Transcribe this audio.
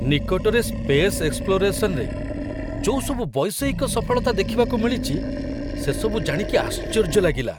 ନିକଟରେ ସ୍ପେସ୍ ଏକ୍ସପ୍ଲୋରେସନ୍‌ରେ ଯୋଉ ସବୁ ବୈଷୟିକ ସଫଳତା ଦେଖିବାକୁ ମିଳିଚି, ସେସବୁ ଜାଣିକି ଆଶ୍ଚର୍ଯ୍ୟ ଲାଗିଲା ।